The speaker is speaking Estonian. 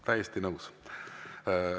Täiesti nõus.